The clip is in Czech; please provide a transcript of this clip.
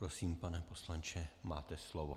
Prosím, pane poslanče, máte slovo.